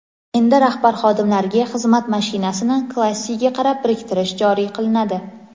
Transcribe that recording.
endi rahbar-xodimlariga xizmat mashinasini klassiga qarab biriktirish joriy qilinadi.